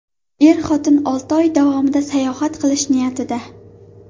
Er-xotin olti oy davomida sayohat qilish niyatida.